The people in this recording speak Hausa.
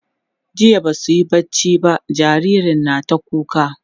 jiya Basu yi barci ba jinjirin na ta kuka